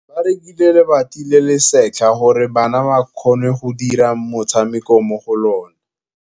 Ba rekile lebati le le setlha gore bana ba dire motshameko mo go lona.